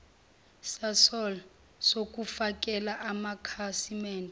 sasol sokufakela amakhasimende